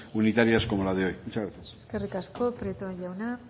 unitarias como la de hoy muchas gracias eskerrik asko prieto jauna